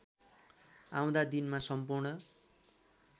आउँदा दिनमा सम्पूर्ण